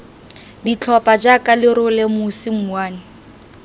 ditlhopha jaaka lerole mosi mouwane